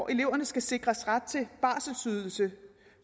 eleverne skal sikres ret til barselsydelse